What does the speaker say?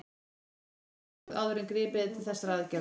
Einnig þarf dómsúrskurð áður en gripið er til þessara aðgerða.